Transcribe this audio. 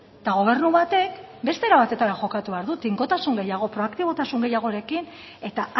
eta gobernu batek beste era batetara jokatu behar du tinkotasun gehiago pro aktibotasun gehiagorekin eta